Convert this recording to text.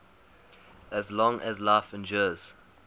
as long as life endures